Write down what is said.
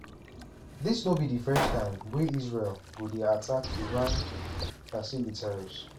dis no be di first time wey israel go dey attack attack iran facilitirs.